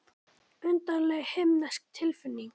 Undarlega himnesk tilfinning.